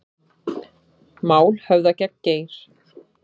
Mál höfðað gegn Geir